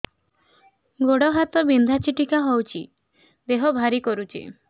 ଗୁଡ଼ ହାତ ବିନ୍ଧା ଛିଟିକା ହଉଚି ଦେହ ଭାରି କରୁଚି